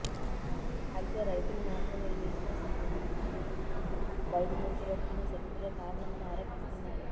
అయితే రైతులు మాత్రం ఈ హింసకు బయటి నుంచి వచ్చిన శక్తులే కారణమని ఆరోపిస్తున్నారు